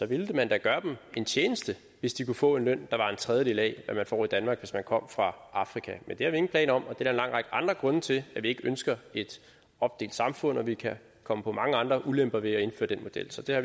ville man da gøre dem en tjeneste hvis de kunne få en løn der var en tredjedel af hvad man får i danmark hvis de kom fra afrika men det har vi ingen planer om og der er en lang række andre grunde til vi ikke ønsker et opdelt samfund vi kan komme på mange andre ulemper ved at indføre den model så det har